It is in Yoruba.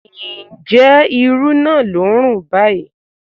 Ǹjẹ́ irú naa ló ń rùn báyìí?